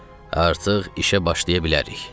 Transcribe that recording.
Artıq işə başlaya bilərik.